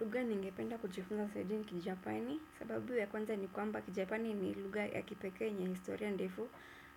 Lugha ningependa kujifunza zaidi ni Kijapani, sababu ya kwanza ni kwamba Kijapani ni lugha ya kipekee yenye historia ndefu